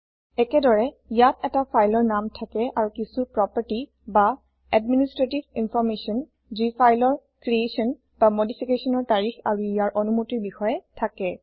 একেদৰে ইয়াত এটা ফাইলৰ নাম থাকে আৰু কিছো প্ৰপাৰ্টি বা এডমিনিষ্ট্ৰেটিভ ইনফৰমেশ্যন যি ফাইলৰ ক্ৰিয়েচ্যনমদিফিকেচ্যনৰ তাৰিখ আৰু ইয়াৰ অনুমতিৰ বিষয়ে থাকে